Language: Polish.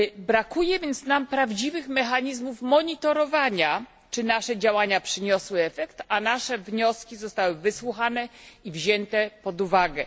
Brakuje więc nam prawdziwych mechanizmów monitorowania, czy nasze działania przyniosły efekt, a nasze wnioski zostały wysłuchane i wzięte pod uwagę.